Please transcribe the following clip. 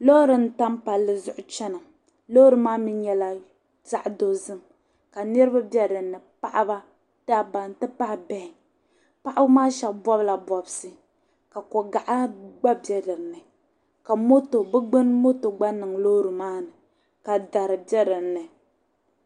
loori n-tam palli zuɣu chana loori maa mi nyɛla zaɣ' dozim ka niriba be dinni paɣiba dabba nti pahi bihi paɣiba maa shɛba bɔbila bɔbisi ka kogaɣa gba be dinni ka bɛ gbuni moto gba niŋ loori maa ni ka dari be dinni